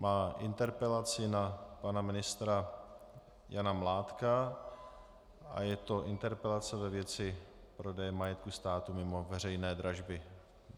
Má interpelaci na pana ministra Jana Mládka a je to interpelace ve věci prodeje majetku státu mimo veřejné dražby.